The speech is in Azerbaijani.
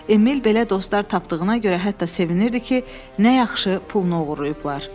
Emil belə dostlar tapdığına görə hətta sevinirdi ki, nə yaxşı pulunu oğurlayıblar.